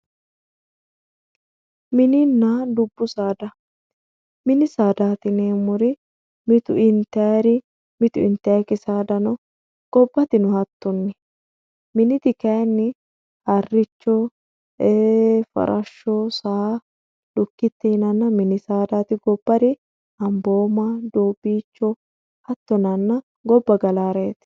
mininna dubbu saada mininna dubbu saada yineemmori mitu intayri mitu intaykiri saada no gobatino hattonni mini saada harricho farashsho saa lukkite yinanna mini saadaati gobbari ambooma doobiicho hatto yinanna obba galaareeti